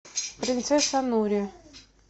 принцесса нури